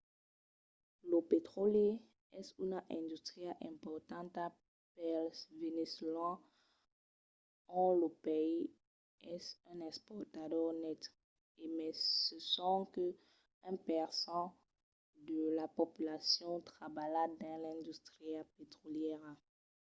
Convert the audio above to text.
lo petròli es una industria importanta pels veneçolans ont lo país es un exportador net e mai se sonque un per cent de la populacion trabalha dins l’industria petrolièra